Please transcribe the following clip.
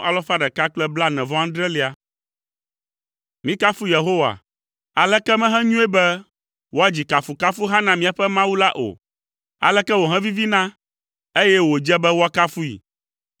Mikafu Yehowa. Aleke mehenyoe be woadzi kafukafuha na míaƒe Mawu la o! Aleke wòhevivina, eye wòdze be woakafui!